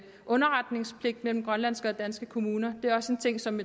underretningspligt mellem grønlandske og danske kommuner det er også en ting som